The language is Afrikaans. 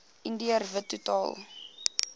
indiër wit totaal